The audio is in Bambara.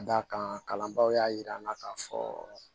Ka d'a kan kalanbaaw y'a yir'an na k'a fɔ